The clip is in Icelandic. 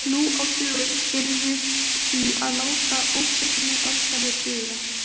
Nú á dögum yrðum við því að láta óbeinni aðferðir duga.